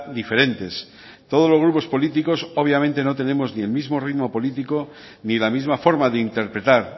diferentes todos los grupos políticos obviamente no tenemos ni el mismo ritmo político ni la misma forma de interpretar